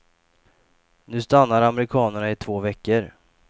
Nu stannar amerikanerna i två veckor.